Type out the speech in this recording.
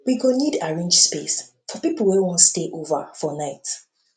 we go need arrange space for people wey wan stay over for night